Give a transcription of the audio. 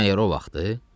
İndi məgər o vaxtı?